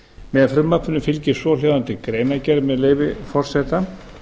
með frumvarpinu fylgir svohljóðandi greinargerð með leyfi forseta